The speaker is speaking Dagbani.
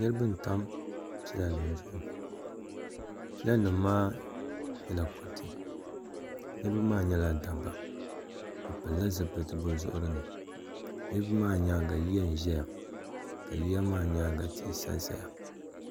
niriba n-tam pilanima zuɣu pilanima maa nyɛla kuriti niriba maa nyɛla dabba bɛ pilila zupiliti bɛ zuɣuri ni niriba maa nyaaga yiya n-ʒeya ka yiya maa nyaaga tihi n-sa saya.